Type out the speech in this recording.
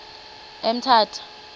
emthatha